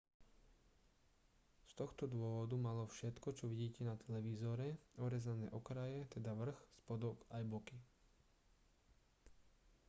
z tohto dôvodu malo všetko čo vidíte na televízore orezané okraje teda vrch spodok aj boky